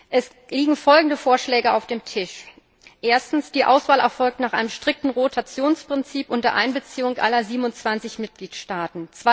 Es liegen folgende Vorschläge auf dem Tisch Erstens Die Auswahl erfolgt nach einem strikten Rotationsprinzip unter Einbeziehung aller 27 Mitgliedstaaten.